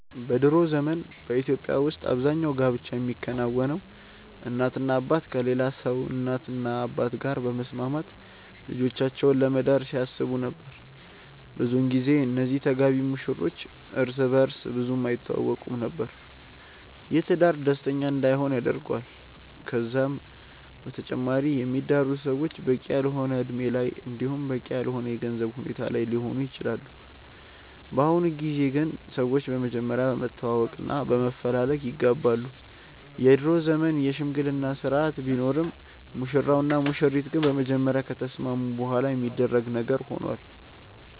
በ ድሮ ዘመን በኢትዮጵያ ውስጥ አብዛኛው ጋብቻ የሚከናወነው እናትና አባት ከሌላ ሰው እናትና አባት ጋር በመስማማት ልጆቻቸውን ለመዳር ሲያስቡ ነበር። ብዙን ጊዜ እነዚህ ተጋቢ ሙሽሮች እርስ በእርስ ብዙም አይተዋወቁም ነበር። ይህም ትዳር ደስተኛ እንዳይሆን ያደርገዋል። ከዛም በተጨማሪ የሚዳሩት ሰዎች በቂ ያልሆነ እድሜ ላይ እንዲሁም በቂ ያልሆነ የገንዘብ ሁኔታ ላይ ሊሆኑ ይችላሉ። በአሁኑ ጊዜ ግን ሰዎች በመጀመሪያ በመተዋወቅ እና በመፈላለግ ይጋባሉ። የድሮ ዘመን የሽምግልና ስርአት ቢኖርም ሙሽራው እና ሙሽሪት ግን በመጀመሪያ ከተስማሙ በኋላ የሚደረግ ነገር ሆኗል።